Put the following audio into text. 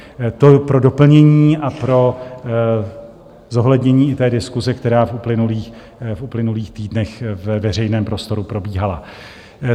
To pro doplnění a pro zohlednění i té diskuse, která v uplynulých týdnech ve veřejném prostoru probíhala.